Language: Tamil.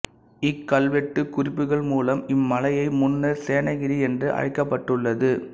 இக்கல்வெட்டுக் குறிப்புகள் மூலம் இம்மலையை முன்னர் சேனகிரி என்று அழைக்கப்பட்டுள்ளது